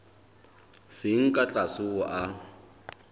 seng ka tlase ho a